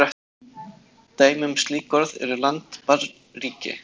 Dæmi um slík orð eru land, barn, ríki.